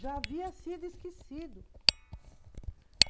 Já havia sido esquecido.